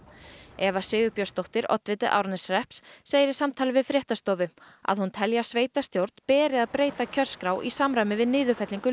Eva Sigurbjörnsdóttir oddviti Árneshrepps segir í samtali við fréttastofu að hún telji að sveitarstjórn beri að breyta kjörskrá í samræmi við niðurfellingu